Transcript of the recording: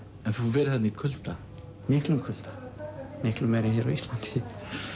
en þú hefur verið þarna í kulda miklum kulda miklu meiri en hér á Íslandi